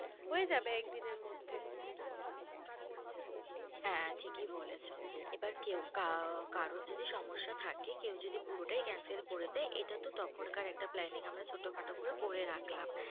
হয়ে যাবে একদিনে এর মধ্যে হ্যাঁ ঠিকই বলেছো, এবার কেউ কা~কারোর যদি সমস্যা থাকে কেউ যদি পুরোটাই cancel করে দেয়, এটা তো তখন কার একটা planning ছোটোখাটো করে রাখলাম।